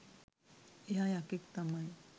එයා යකෙක් තමයි